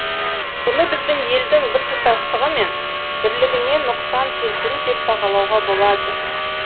бұны біздің елдің біртұтастығы мен бірлігіне нұқсан келтіру деп бағалауға болады